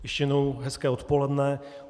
Ještě jednou hezké odpoledne.